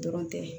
Dɔrɔn tɛ